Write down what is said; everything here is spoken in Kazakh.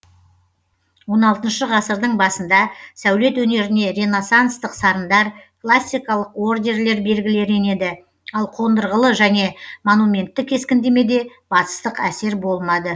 он алтыншы ғасырдың басында сәулет өнеріне ренассанстық сарындар классикалық ордерлер белгілері енеді ал кондырғылы және монументті кескіндемеде батыстық әсер болмады